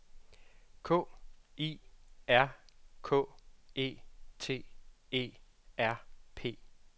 K I R K E T E R P